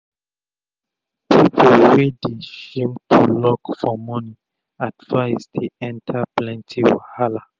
pipu wey dey shame to luk for moni advise dey enta plenty wahala